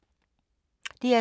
DR2